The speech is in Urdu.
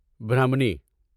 برہمنی